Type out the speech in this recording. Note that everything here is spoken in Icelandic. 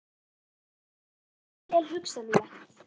Þannig að þetta er vel hugsanlegt?